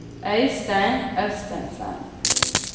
Øistein Østensen